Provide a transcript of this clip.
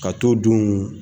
Ka to donw